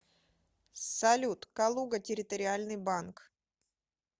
салют калуга территориальный банк